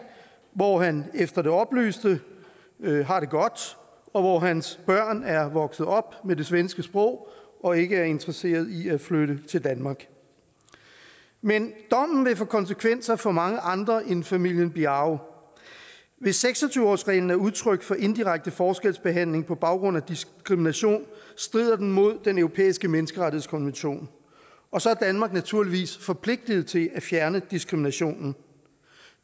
hvor han efter det oplyste har det godt og hvor hans børn er vokset op med det svenske sprog og ikke er interesseret i at flytte til danmark men dommen vil få konsekvenser for mange andre end familien biao hvis seks og tyve årsreglen er udtryk for indirekte forskelsbehandling på baggrund af diskrimination strider den mod den europæiske menneskerettighedskonvention og så er danmark naturligvis forpligtet til at fjerne diskriminationen